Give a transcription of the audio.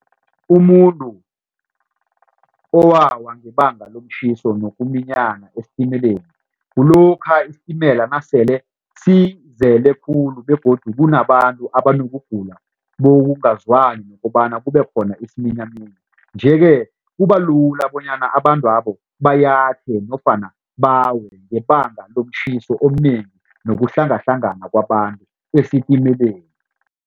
Umuntu owawa ngebanga lomtjhiso nokuminyana estimeleni kulokha isitimela nasele sizele khulu begodu kunabantu abanokugula bokungazwani ngokobana kube khona isiminyaminya. Nje-ke kubalula bonyana abantwabo bayathe nofana bawe ngebanga lomtjhiso omunengi nokuhlangahlangana kwabantu esitimeleni.